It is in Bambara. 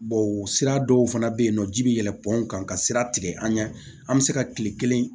sira dɔw fana be yen nɔ ji bi yɛlɛ panw kan ka sira tigɛ an ɲɛ an be se ka kile kelen